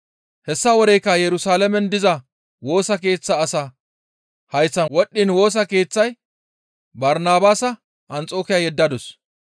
Hessa woreykka Yerusalaamen diza Woosa Keeththa asaa hayththan wodhdhiin Woosa Keeththaya Barnabaasa Anxokiya yeddadus.